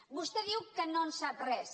vostè diu que no en sap res